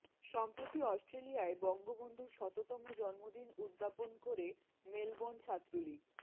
সম্প্রতি অস্ট্রেলিয়ায় বঙ্গবন্ধুর শততম জন্মদিন উদ্যাপন করে মেলবোর্ন ছাত্রলীগ